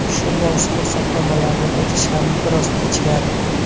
Shu bois ruxsatnomalarni berish ham biroz kechikadi.